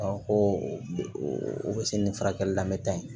ko o bɛ se ni furakɛli la n bɛ taa yen